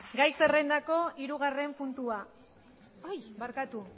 gai zerrendako hirugarren puntua ai barkatu